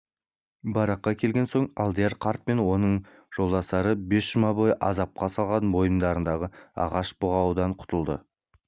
баракқа келген соң алдияр қарт пен оның жолдастары бес жұма бойы азапқа салған мойындарындағы ағаш бұғаудай құтылды